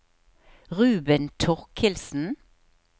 Ruben Torkildsen